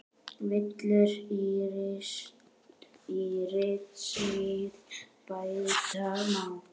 Villur í ritsmíð bæta má.